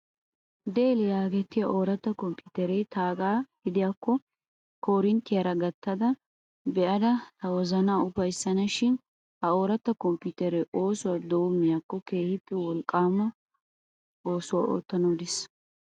Dell yaagetettiyaa ooratta komppiiteree taagaa gidiyaakko korinttiyaara gattada be'ayidda tawozanaa ufayissana shin. Ha ooratta komppiiteree oosuwaa doommiyaakko keehippe wolqqaama eesuwan oottanawu de'es.